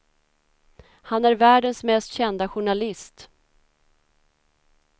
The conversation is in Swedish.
Han är världens mest kända journalist.